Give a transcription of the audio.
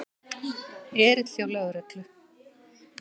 Erill hjá lögreglu